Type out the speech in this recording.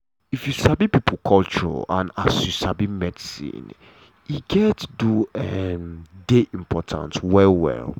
if you sabi pipo culture and as you sabi medicine e um do um dey important well well.